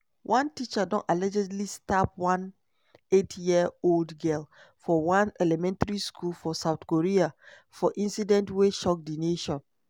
one teacher don allegedly stab one eight-year-old girl for one elementary school for south korea for incident wey shock di nation.